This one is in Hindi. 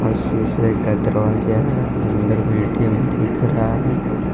और शीशे का दरवाजा है अंदर मे ए_टी_एम दिख रहा है।